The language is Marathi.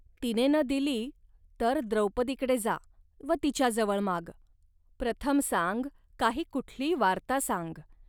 तिने न दिली तर द्रौपदीकडे जा व तिच्याजवळ माग. प्रथम सांग, काही कुठली वार्ता सांग